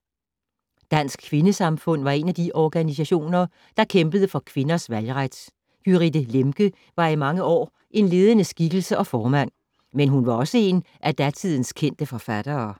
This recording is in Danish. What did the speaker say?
Dansk Kvindesamfund var en af de organisationer, der kæmpede for kvindernes valgret. Gyrithe Lemche var i mange år en ledende skikkelse og formand. Men hun var også en af datidens kendte forfattere.